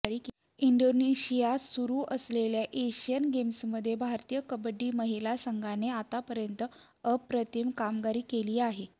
इंडोनेशियात सुरू असलेल्या एशियन्स गेम्समध्ये भारतीय कबड्डी महिला संघाने आतापर्यंत अप्रतिम कामगिरी केली आहे